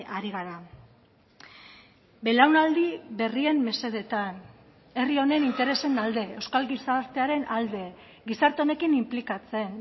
ari gara belaunaldi berrien mesedetan herri honen interesen alde euskal gizartearen alde gizarte honekin inplikatzen